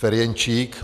Ferjenčík.